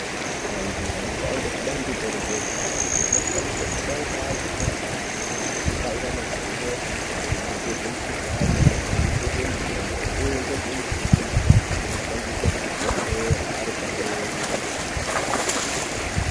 Antu anoshande kubandiko rezveutano ano anofana kusangana ari pamweni achipangana zivo maringe nezvemukhuhlane, maringe ngezvemutombo uye ngezvemuchini inoshandiswa kuzvibhehlera ari pamweni.